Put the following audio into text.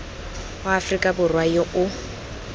wa aforika borwa yo o